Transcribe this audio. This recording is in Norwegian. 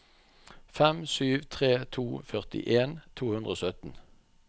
fem sju tre to førtien to hundre og sytten